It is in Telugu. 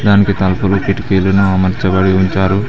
దానికి తలుపులు కిటికీలను అమర్చబడి ఉంచారు.